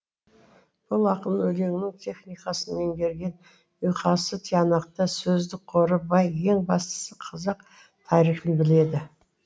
бұл ақын өлеңнің техникасын меңгерген ұйқасы тиянақты сөздік қоры бай ең бастысы қазақ тарихын біледі